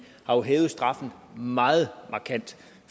har hævet straffen meget markant